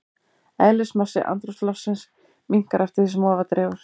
Eðlismassi andrúmsloftsins minnkar eftir því sem ofar dregur.